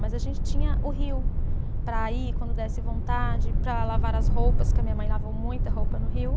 Mas a gente tinha o rio para ir quando desse vontade, para lavar as roupas, porque a minha mãe lavou muita roupa no rio.